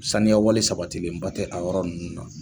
Saniyawale sabatilenba tɛ a yɔrɔ ninnu na